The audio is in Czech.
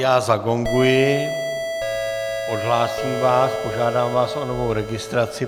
Já zagonguji, odhlásím vás, požádám vás o novou registraci.